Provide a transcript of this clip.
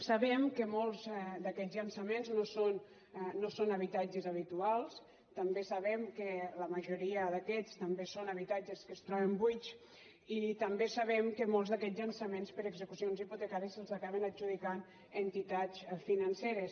sabem que molts d’aquests llançaments no són habitatges habituals també sabem que la majoria d’aquests també són habitatges que es troben buits i també sabem que molts d’aquests llançaments per execucions hipotecàries se’ls acaben adjudicant entitats financeres